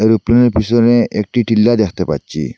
ওই প্লেনের পিছনে একটি টিল্লা দেখতে পাচ্ছি।